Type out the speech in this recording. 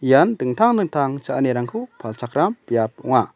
ian dingtang dingtang cha·anirangko palchakram biap ong·a.